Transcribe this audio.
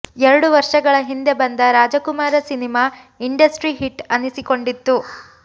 ಎರಡು ವರ್ಷಗಳ ಹಿಂದೆ ಬಂದ ರಾಜಕುಮಾರ ಸಿನಿಮಾ ಇಂಡಸ್ಟ್ರಿ ಹಿಟ್ ಅನ್ನಿಸಿಕೊಂಡಿತ್ತು